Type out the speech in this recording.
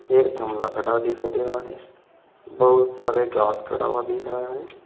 एक खड़ा दिखाई दे रहा है बहुत सारे घास खड़ा हुआ दिख रहा है।